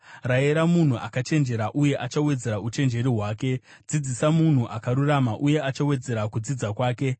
Rayira munhu akachenjera uye achawedzera uchenjeri hwake; dzidzisa munhu akarurama uye achawedzera kudzidza kwake.